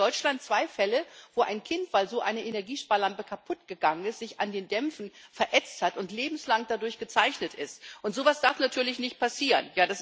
Wir haben in Deutschland zwei Fälle, wo ein Kind, weil so eine Energiesparlampe kaputt gegangen ist, sich an den Dämpfen verätzt hat und lebenslang dadurch gezeichnet ist. So etwas darf natürlich nicht passieren.